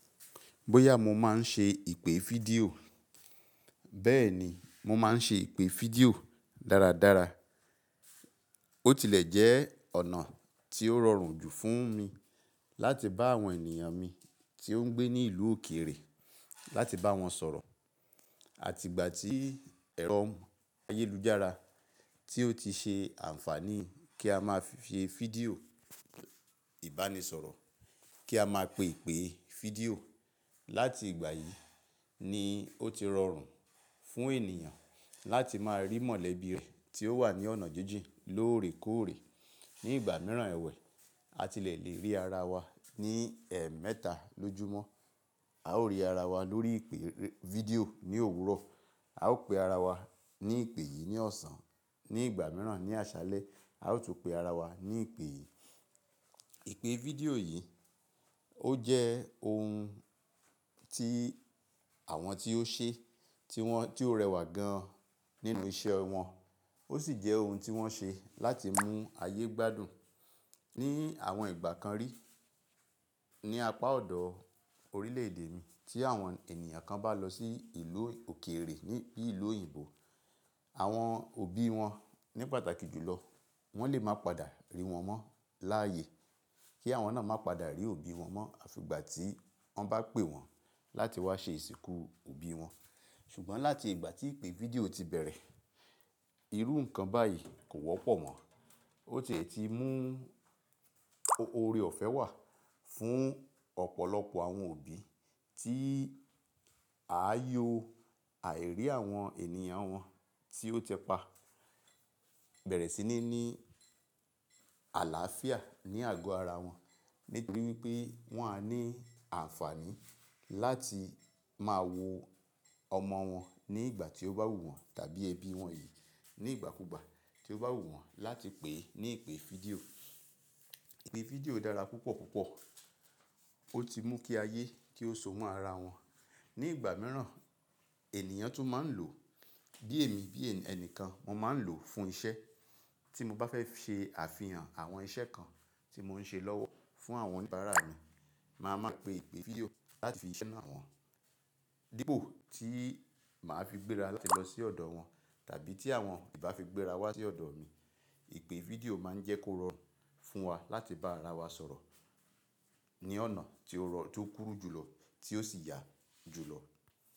Bóyá mo máa ń ṣe ìpè fídíò. Bẹ́ẹ̀ ni, mo máa ń ṣe ìpè fídíò dáradára. Ó tilẹ̀ jẹ́ ọ̀nà tí ó rọrùn jù fún mi láti bá àwọn ènìyàn mi tí ó ń gbé ní ìlú òkèèrè láti bá wọn sọ̀rọ̀. Àti ìgbà tí ẹ̀rọ ayélujára tí ó ti ṣe àǹfààní kí a máa fi fídíò ìbánisọ̀rọ̀, kí a máa pè ìpè fídíò. Láti ìgbà yìí ni ó ti rọrùn fún ènìyàn láti máa rí mọ̀lẹ́bí rẹ̀ tí ó wà ní ọ̀nà jíjìn lóòrèkóòrè. Ni ìgbà mìíràn ẹ̀wẹ̀, a tilẹ̀ lè rí ara wa ní ẹemẹ́ta lójúmọ́. A ó rí ara wa lórí ìpè fídíò ní òwúrọ̀, a ó pe ara wa ní ìpè yìí ní ọ̀sán, ní ìgbà mìíràn ní àṣálẹ́ a ó tún pe ara wa ní ìpè yìí. Ìpè fídíò yìí ó jẹ́ ohun tí àwọn tí ó ṣe, tí ó rẹwà gan nínú iṣẹ́ wọn, ó sì jẹ́ ohun tí wọ́n ṣe láti mú ayé gbádùn ní àwọn ìgbà kan rí. Ni apá ọ̀dọ̀ orílẹ̀-èdè mi tí àwọn ènìyàn kan bá lọ sí ìlú òkèèrè ní bí i ìlú òyìnbó, àwọn òbí wọn ní pàtàkì jùlọ wọ́n lè máa padà rí wọn mọ́ láàyè kí àwọn náà máa padà rí òbí wọn mọ́ àfi ìgbà tí wọ́n bá pè wọ́n láti wá ṣe ìsìnkú òbí wọn. Ṣùgbọ́n láti ìgbà tí ìpè fídíò ti bẹ̀rẹ̀, irú nǹkan báyìí kò wọ́pọ̀ mọ́. Ó tiè ti mú oore ọ̀fẹ́ wà fún ọ̀pọ̀lọpọ̀ àwọn òbí tí àáyò àìrí àwọn ènìyàn wọn tí ó tẹpá bẹ̀rẹ̀ sí ní ní àlàáfíà ní àgọ́ ara wọn. Nítorí wipé wọ́n á ní àǹfààní láti máa wo ọmọ wọn ní ìgbà tí ó bá wù wọ́n tàbí ẹbí wọn yìí nígbàkúùgbà tí ó bá wù wọ́n láti pè é ní ìpè fídíò. Ìpè fídíò dára púpọ̀púpọ̀. Ó ti mú kí ayé kí ó so mọ́ ara wọn. Ni ìgbà mìíràn ènìyàn tún máa ń lò bí èmi bí ẹnìkan, mo máa ń lò fún iṣẹ́. Tí mo bá fẹ́ ṣe àfihàn àwọn iṣẹ́ kan tí mò ń ṣe lọ́wọ́ fún àwọn oníbàárà mi, màá máa pe ìpè fídíò láti fi iṣẹ́ naa wọn. Dípò tí màá fi gbéra láti lọ sí ọ̀dọ̀ wọn tàbí tí àwọn ìbá fi gbéra wá sí ọ̀dọ̀ mi, ìpè fídíò máa ń jẹ́ kó rọrùn fún wa láti bá ara wa sọ̀rọ̀ ní ọ̀nà tí ó rọrùn tí ó kúrú jùlọ tí ó sì yà jùlọ.